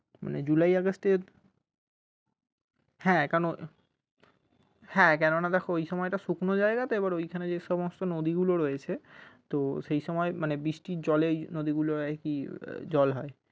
মানে july august এ হ্যাঁ কারণ হ্যাঁ কেন না দেখো ওই সময়টা শুকনো জায়গা তো এবার ওখানে যে সমস্ত নদীগুলো রয়েছে তো সেই সময় বৃষ্টির জলে ওই নদী গুলোর আর কি জল হয়।